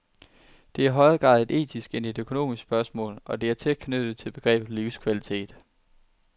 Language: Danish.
Det er i højere grad et etisk end et økonomisk spørgsmål, og det er tæt knyttet til begrebet livskvalitet.